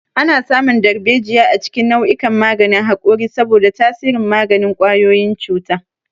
Ana samun darbejiya a cikin nau'ikan maganin haƙori saboda tasirin maganin ƙwayoyin cuta.